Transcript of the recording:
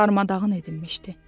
Darmadağın edilmişdi.